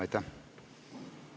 Aitäh!